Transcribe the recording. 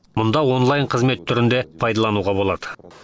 мұнда онлайн қызмет түрін де пайдалануға болады